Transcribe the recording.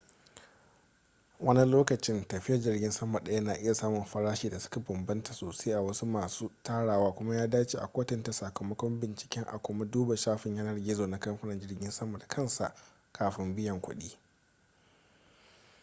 wani lokacin tafiyar jirgin sama ɗaya na iya samun farashi da suka bambanta sosai a wasu masu tarawa kuma ya dace a kwatanta sakamakon bincike a kuma duba shafin yanar gizo na kamfanin jirgin sama da kansa kafin biyan kuɗi